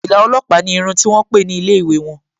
Fìlà ọlọ́pàá ni irun ti wón pè ní ilé ìwé won